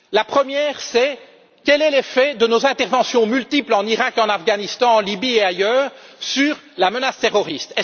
Premièrement, quel est l'effet de nos interventions multiples en Iraq, en Afghanistan, en Libye et ailleurs sur la menace terroriste?